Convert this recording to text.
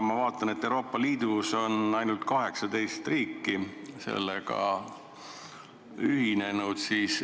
Ma vaatan, et Euroopa Liidus on ainult 18 riiki sellega ühinenud.